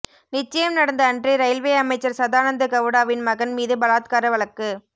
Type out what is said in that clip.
நிச்சயம் நடந்த அன்றே ரயில்வே அமைச்சர் சதானந்த கவுடாவின் மகன் மீது பலாத்கார வழக்கு